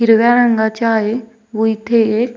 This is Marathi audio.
हिरव्या रंगाच्या आहेत व इथे एक --